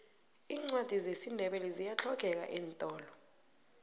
iincwadi zesindebele ziyahlogeka eentolo